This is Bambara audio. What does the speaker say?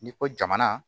N'i ko jamana